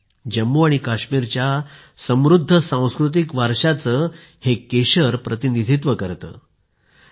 ते जम्मू आणि काश्मीरच्या समृद्ध सांस्कृतिक वारशाचे प्रतिनिधित्व करतं